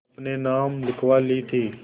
अपने नाम लिखवा ली थी